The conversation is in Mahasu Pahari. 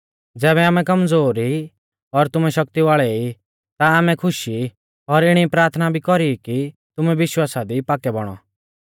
ज़ैबै आमै कमज़ोर ई और तुमैं शक्ति वाल़ै ई ता आमै खुश हुई ई और इणी प्राथना भी कौरी ई कि तुमै विश्वासा दी पाक्कै बौणौ